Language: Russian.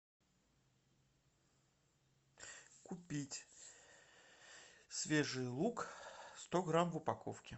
купить свежий лук сто грамм в упаковке